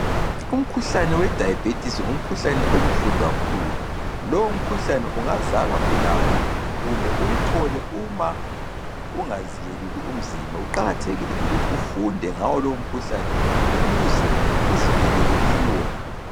Umkhuhlane wediabetis ngumkhuhlane obuhlungu kakhulu. Lowo mkhuhlane ungazalwa ulawo kumbe uwuthole uma ungaziyeluli umzimba. Kuqakathekile ukuthi ufunde ngawo lowo mkhuhlane ukuze uzivikele kiwo.